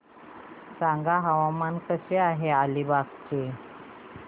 सांगा हवामान कसे आहे अलिबाग चे